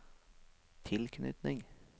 tilknytning